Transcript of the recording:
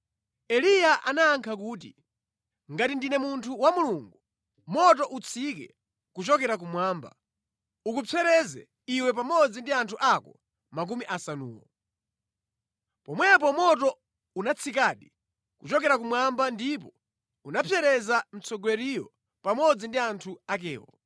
Eliya anayankha kuti, “Ngati ndine munthu wa Mulungu, moto utsike kuchokera kumwamba, ukupsereze iwe pamodzi ndi anthu ako makumi asanuwo!” Pomwepo moto unatsikadi kuchokera kumwamba ndipo unapsereza mtsogoleriyo pamodzi ndi anthu akewo.